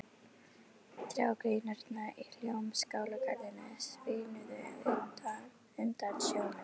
Trjágreinarnar í Hljómskálagarðinum svignuðu undan snjónum.